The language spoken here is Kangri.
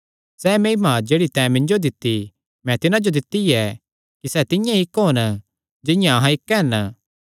सैह़ महिमा जेह्ड़ी तैं मिन्जो दित्ती मैं तिन्हां जो दित्ती ऐ कि सैह़ तिंआं ई इक्क होन जिंआं कि अहां इक्क हन